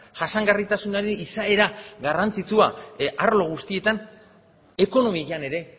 jasangarritasunari izaera garrantzitsua arlo guztietan ekonomian ere